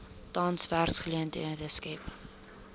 tans werksgeleenthede skep